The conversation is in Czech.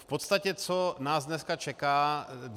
V podstatě co nás dneska čeká?